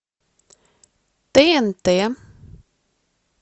тнт